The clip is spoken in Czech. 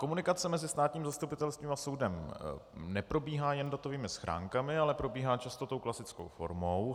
Komunikace mezi státním zastupitelstvím a soudem neprobíhá jen datovými schránkami, ale probíhá často tou klasickou formou.